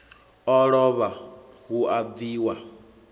o lovha hu a bviwa